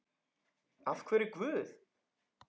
Af hverju Guð?